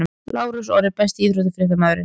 Lárus Orri Besti íþróttafréttamaðurinn?